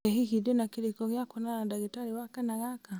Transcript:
ĩ hihi ndĩna kĩrĩko gĩa kwonana na ndagĩtarĩ wakana gaka